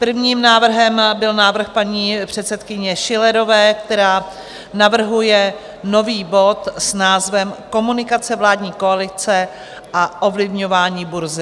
Prvním návrhem byl návrh paní předsedkyně Schillerové, která navrhuje nový bod s názvem Komunikace vládní koalice a ovlivňování burzy.